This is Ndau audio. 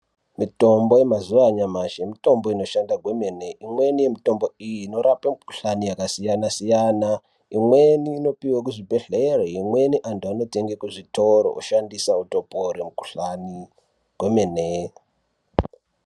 Mitombo yemazuwa anyamashi, mitombo inoshanda kwemene ,imweni mitombo iyi inorape mukhuhlane yakasiyana siyana ,imweni inopiwe kuzvibhedhlere ,imweni antu anotenge kuzvitoro woshandisa woropore mukhuhlane kwemene.